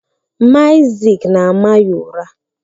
Mama Isaac na-ama ya ụra.